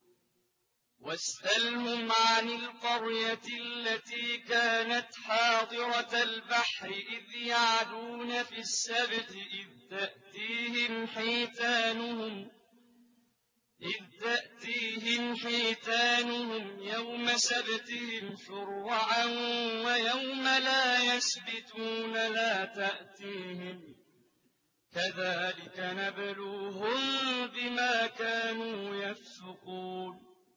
وَاسْأَلْهُمْ عَنِ الْقَرْيَةِ الَّتِي كَانَتْ حَاضِرَةَ الْبَحْرِ إِذْ يَعْدُونَ فِي السَّبْتِ إِذْ تَأْتِيهِمْ حِيتَانُهُمْ يَوْمَ سَبْتِهِمْ شُرَّعًا وَيَوْمَ لَا يَسْبِتُونَ ۙ لَا تَأْتِيهِمْ ۚ كَذَٰلِكَ نَبْلُوهُم بِمَا كَانُوا يَفْسُقُونَ